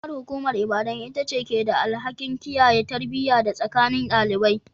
Karamar hukumar Ibadan ita ce ke da alhakin kiyaye tarbiyya a tsakanin ɗalibai.